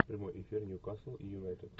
прямой эфир ньюкасл и юнайтед